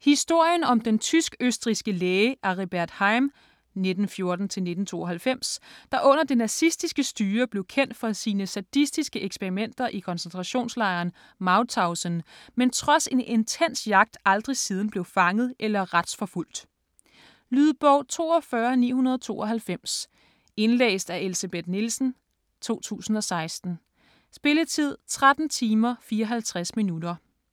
Historien om den tysk-østrigske læge Aribert Heim (1914-1992), der under det nazistiske styre blev kendt for sine sadistiske eksperimenter i koncentrationslejren Mauthausen, men trods en intens jagt aldrig siden blev fanget eller retsforfulgt. Lydbog 42992 Indlæst af Elsebeth Nielsen, 2016. Spilletid: 13 timer, 54 minutter.